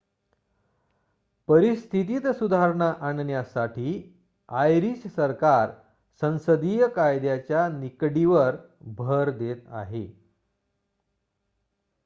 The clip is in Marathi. परिस्थितीत सुधारणा आणण्यासाठी आयरिश सरकार संसदीय कायद्याच्या निकडीवर भर देत आहे